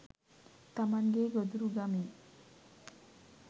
තමන්ගේ ගොදුරුගමින්